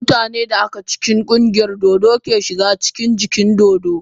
Mutanen da aka cikin ƙungiyar dodo ke shiga cikin dajin dodo.